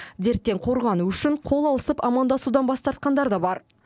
дерттен қорғану үшін қол алысып амандасудан бас тартқандар да бар